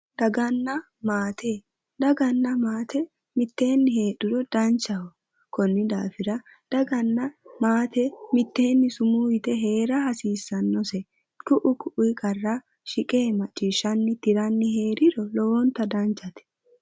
daganna maate, daganna maate mitteenni heedhuro danchaho konni daafira daganna maate mitteeni sumuu yite heera hasiissannose ku''u ku''i qarra shiqe macciishshshanni tiranni heeriro lowontay danchate